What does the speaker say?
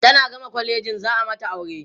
tana gama kwalejin za'a mata aure